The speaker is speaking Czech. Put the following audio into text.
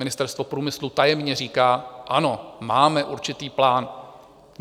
Ministerstvo průmyslu tajemně říká: ano, máme určitý plán.